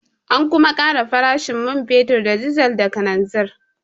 An kuma ƙara farashin man fetur da dizal da kananzir.